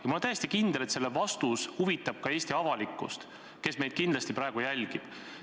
Ma olen täiesti veendunud, et selle vastus huvitab ka Eesti avalikkust, kes meid kindlasti praegu jälgib.